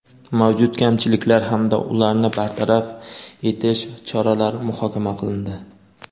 mavjud kamchiliklar hamda ularni bartaraf etish choralari muhokama qilindi.